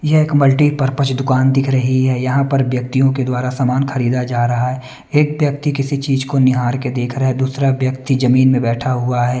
यह एक मल्टीपर्पस दुकान दिख रही है यहाँ पर व्यक्तियों के द्वारा सामान खरीदा जा रहा है एक व्यक्ति किसी चीज को निहार के देख रहा है दूसरा व्यक्ति जमीन में बैठा हुआ है।